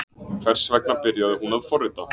Hvers vegna byrjaði hún að forrita?